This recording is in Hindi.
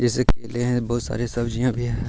जैसे केले हैं बहुत सारी सब्जियाँ भी हैं।